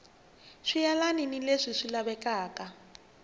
swi yelani ni leswi lavekaka